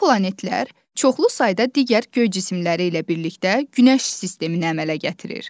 Bu planetlər çoxlu sayda digər göy cisimləri ilə birlikdə günəş sistemini əmələ gətirir.